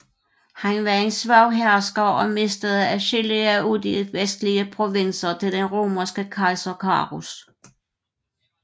Han var en svag hersker og mistede adskillige af de vestlige provinser til den romerske kejser Carus